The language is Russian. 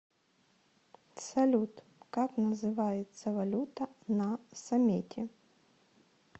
салют как называется валюта на самете